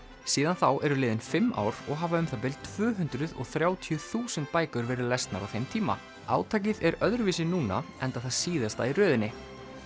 síðan þá eru liðin fimm ár og hafa um það bil tvö hundruð og þrjátíu þúsund bækur verið lesnar á þeim tíma átakið er öðruvísi núna enda það síðasta í röðinni